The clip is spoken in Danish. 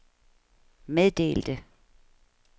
meddelte